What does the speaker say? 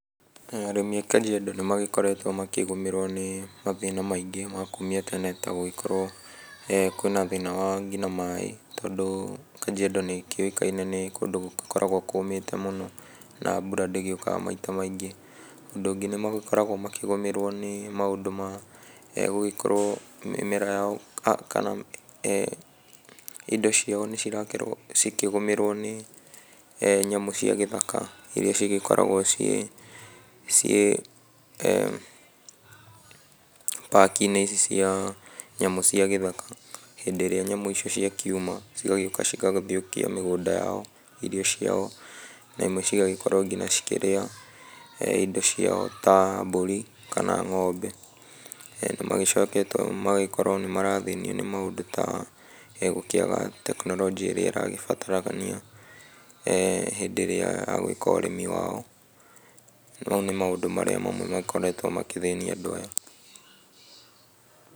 Arĩmi a Kajiado nĩmagĩkoretwo makĩgũmĩrwo nĩ mathĩna maingĩ ma kumia tene ta gũgĩkorwo kwĩna thĩna wa nginya maĩ, tondũ Kajiado nĩkĩũĩkaine nĩ kũndũ gũgĩkoragwo kũmĩte mũno na mbura ndĩgĩũkaga maita maingĩ. Ũndũ ũngĩ nĩmagĩkoragwo makĩgũmĩrwo nĩ maũndũ ma gũgĩkorwo mĩmera yao kana indo ciao nĩcirakorwo cikĩgũmĩrwo nĩ nyamũ cia gĩthaka, iria cigĩkoragwo ciĩ ciĩ park inĩ ici cia nyamũ cia gĩthaka, hĩndĩ ĩrĩa nyamũ icio cia kiuma cigagĩũka cigagĩthũkia mĩgũnda yao, irio ciao na imwe cigagĩkorwo kinya cikĩrĩa indo ciao ta mbũri kana ng'ombe. Nĩmagĩcokete magagĩkorwo nĩmarathĩnio nĩ maũndũ ta gũkĩaga tekinoronjĩ ĩrĩa ĩragĩbatarania hĩndĩ ĩrĩa ya gwĩka ũrĩmi wao. Mau nĩ maũndũ marĩa mamwe makoretwo magĩthĩnia andũ aya.